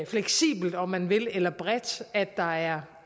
fleksibelt om man vil eller bredt at der er